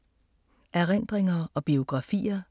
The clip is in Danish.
Erindringer og biografier